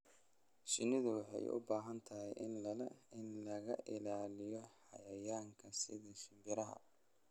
Shinnidu waxay u baahan tahay in laga ilaaliyo xayawaanka sida shimbiraha.